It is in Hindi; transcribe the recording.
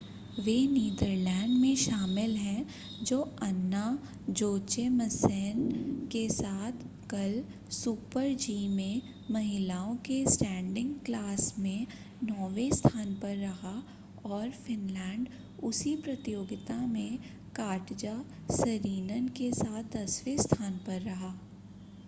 वे नीदरलैंड में शामिल हैं जो अन्ना जोचेमसेन के साथ कल सुपर-जी में महिलाओं के स्टैंडिंग क्लास में नौवें स्थान पर रहा और फ़िनलैंड उसी प्रतियोगिता में काटजा सरीनन के साथ दसवें स्थान पर रहा